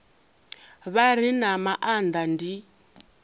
vha re na maanda ndi